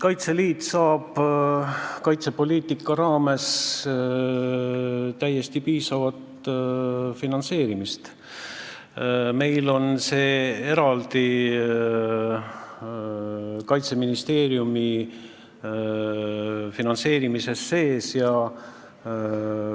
Kaitseliitu finantseeritakse kaitsepoliitika raames täiesti piisavalt, meil on see Kaitseministeeriumi finantseerimise all eraldi esile toodud.